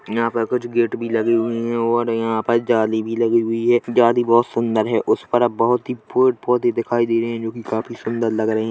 यहां पे कुछ गेट भी लगे हुवे है और यह पर जाली भी लगी हुई है एक जाली बोहोत सुंदर है उस पर बोहोत ही पेड़ पौधे दिखाई दे रहे है जोकि काफी सुंदर लग रहे है।